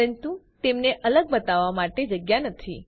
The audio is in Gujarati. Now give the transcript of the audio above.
પરંતુ તેમને અલગ બતાવવા માટે જગ્યા નથી